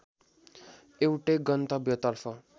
एउटै गन्तव्यतर्फ